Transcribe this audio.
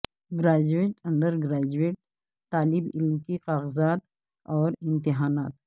graduate undergraduate طالب علم کے کاغذات اور امتحانات